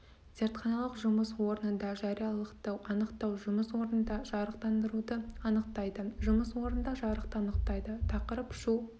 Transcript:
зертханалық жұмыс орнында жариялылықты анықтау жұмыс орнында жарықтандыруды анықтайды жұмыс орнында жарықты анықтайды тақырып шу